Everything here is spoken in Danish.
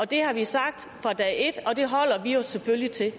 det har vi sagt fra dag et og det holder vi os selvfølgelig til